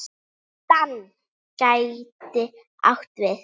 DAN gæti átt við